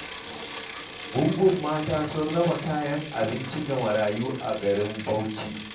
Gungun mata sun raba kayan abinci ga marayu a garin Bauchi.